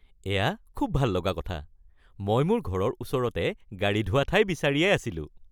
এয়া খুব ভাল লগা কথা! মই মোৰ ঘৰৰ ওচৰতে গাড়ী ধোৱা ঠাই বিচাৰিয়েই আছিলোঁ।